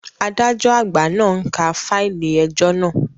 Adájọ́ àgbà náà ń ka fáìlì ẹjọ́ naa